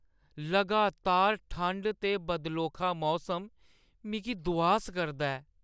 लगातार ठंड ते बदलोखा मौसम मिगी दुआस करदा ऐ ।